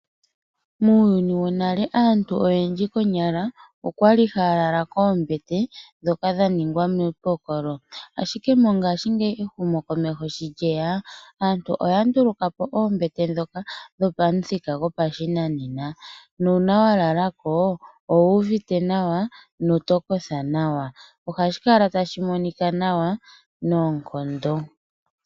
Muuyuni wonale aantu oyendji konyala oyali haya lala koonbete ndhoka dha ningwa miipokolo. Ehumo komeho sho lyeya aantu oya ndulukapo oombete ndhoka dhopashinanena nuuna wa lalako ohokala wuuvite nawa noto kotha nawa.